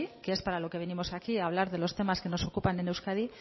que es para lo que venimos aquí a hablar de los temas que nos ocupan en euskadi